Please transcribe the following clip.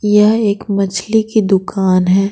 यह एक मछली की दुकान है।